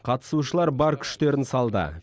қатысушылар бар күштерін салды